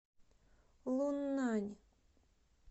луннань